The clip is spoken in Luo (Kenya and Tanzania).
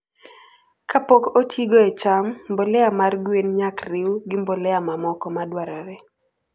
kapok otigo e cham, mbolea mar gwen nyak riw gi mbolea mamoko madwarore